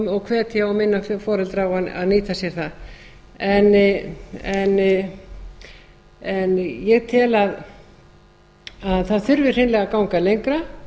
og hvetja og minna þá foreldra á að nýta sér það ég tel að það þurfi hreinlega að ganga lengra